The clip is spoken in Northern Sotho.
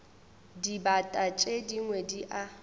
dibata tše dingwe di a